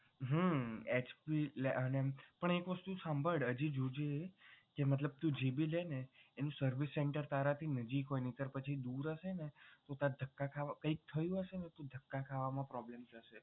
હમ HP જ પણ એક વસ્તુ સાંભળ હજી જોજે જે મતલબ તું જે ભી લેને service center તારાથી નજીક હોય નહિતર પછી દૂર હશે ને તો તારે ધક્કા ખાવા કઈક થયું હશે ને તો ધક્કા ખાવા માં problem થશે.